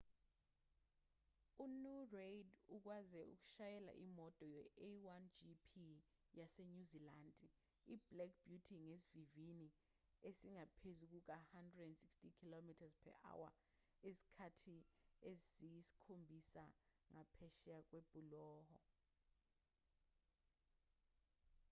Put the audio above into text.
umnu reid ukwaze ukushayela imoto ye-a1gp yasenyuzilandi iblack beauty ngesivinini esingaphezu kuka-160km/h izikhathi eziyisikhombisa ngaphesheya kwebhuloho